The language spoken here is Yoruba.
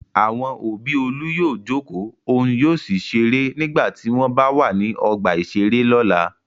Àwọn òbí Olú yóò jókòó òun yóò sì ṣeré nígbà tí wọ́n b wà ní ọgbà-ìṣeré lọ́la.